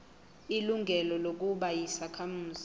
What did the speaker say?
ilungelo lokuba yisakhamuzi